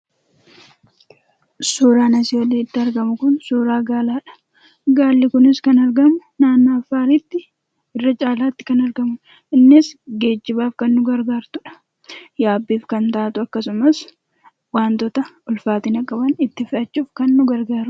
Suuraan asii olitti argamu kun suuraa gaalaadha. Gaalli kunis kan argamu naannoo Affaarittidha. Affaaritti irra caalaatti kan argamudha. Innis geejjibaaf kan nu gargaartudha. Yaabbiif kan taatu akkasumas wantoota ulfaatina qaban itti fe'achuuf kan nu gargaarudha.